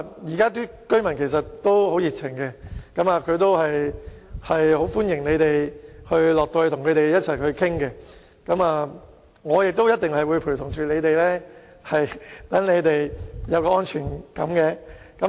現在的居民其實也很熱情，並歡迎兩位局長到區內與他們商討，而我也一定會陪同他們，讓他們有安全感。